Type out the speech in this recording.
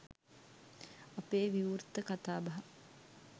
අපේ විවෘත කතාබහ